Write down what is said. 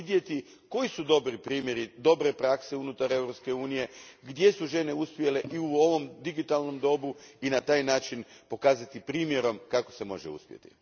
Vidjeti koji su dobri primjeri, dobre prakse unutar Europske unije, gdje su žene uspjele i u ovom digitalnom dobu i na taj način pokazati primjerom kako se može uspjeti.